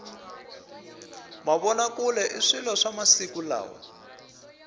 mavona kule i swilo swa masiku lawa